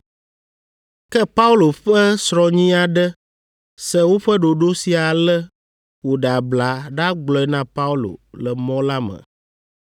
Ke Paulo ƒe srɔ̃nyi aɖe se woƒe ɖoɖo sia ale wòɖe abla ɖagblɔe na Paulo le mɔ la me.